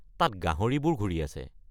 তাতে গাহৰিবোৰ ঘূৰি আছে।